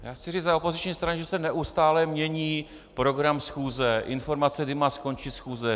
Já chci říci za opoziční strany, že se neustále mění program schůze, informace, kdy má skončit schůze.